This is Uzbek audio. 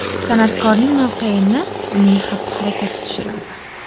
San’atkorning mavqeini uning xatti-harakati tushiradi.